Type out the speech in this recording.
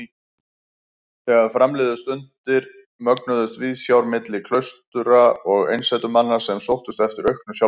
Þegar fram liðu stundir mögnuðust viðsjár milli klaustra og einsetumanna sem sóttust eftir auknu sjálfræði.